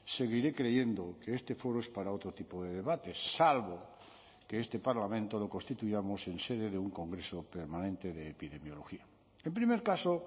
seguiré creyendo que este foro es para otro tipo de debates salvo que este parlamento lo constituyamos en sede de un congreso permanente de epidemiología en primer caso